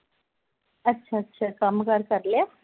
ਅੱਛਾ ਅੱਛਾ ਕੰਮ ਕਾਰ ਕਰ ਲਿਆ